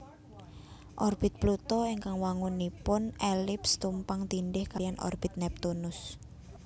Orbit Pluto ingkang wangunipun elips tumpang tindhih kaliyan orbit Neptunus